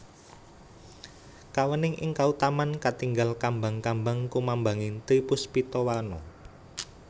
Kaweningan ing kautaman katingal kambang kambang kumambanging tri puspita warna